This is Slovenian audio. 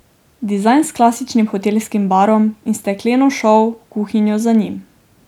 Dizajn s klasičnim hotelskim barom in stekleno šov kuhinjo za njim.